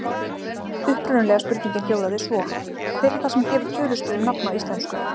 Upprunalega spurningin hljóðaði svo: Hver er það sem gefur tölustöfum nafn á íslensku?